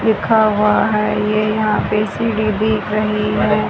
लिखा हुआ है ये यहां पे सीढ़ी दिख रही है।